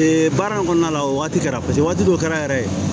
baara in kɔnɔna la o waati kɛra paseke waati dɔ kɛra yɛrɛ